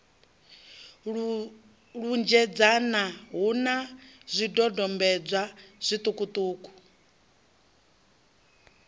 lunzhedzana hu na zwidodombedzwa zwiṱukuṱuku